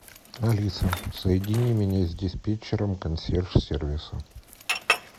алиса соедини меня с диспетчером консьерж сервиса